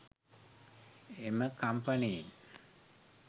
එම කම්පනයෙන්